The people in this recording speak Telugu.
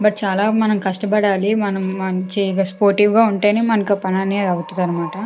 చాలా మనం కష్టపడాలి మనం చేయగా స్పోర్టివ్ గా ఉంటేనే మనకు పని అనేది అవుతదన్నమాట.